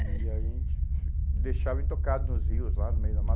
E a gente deixava intocado nos rios, lá no meio do mato.